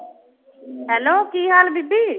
Hello ਕੀ ਹਾਲ ਬੀਬੀ?